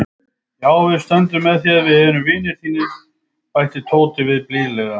Já, við stöndum með þér, við erum vinir þínir bætti Tóti við blíðlega.